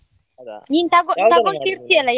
ಹೌದಾ.